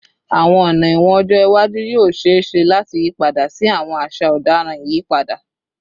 Awọn ọna ẹwọn ọjọ iwaju yoo ṣee ṣe lati yipada si awọn aṣa ọdaràn iyipada